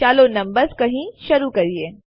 ચાલો નંબર્સ કહી શરુ કરીએ